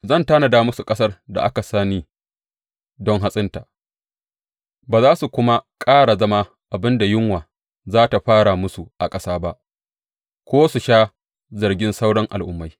Zan tanada musu ƙasar da aka sani don hatsinta, ba za su kuma ƙara zama abin da yunwa za tă fara musu a ƙasa ba ko su sha zargin sauran al’ummai.